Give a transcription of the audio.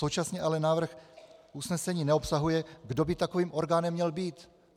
Současně ale návrh usnesení neobsahuje, kdo by takovým orgánem měl být.